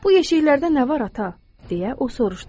Bu yeşikdə nə var, ata?